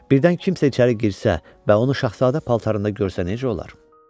Birdən kimsə içəri girsə və onu şahzadə paltarında görsə nəcə olar?